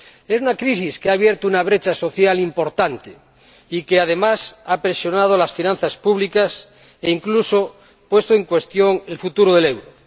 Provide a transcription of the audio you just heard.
Es una crisis que ha abierto una brecha social importante y que, además, ha presionado las finanzas públicas, e incluso puesto en cuestión el futuro del euro.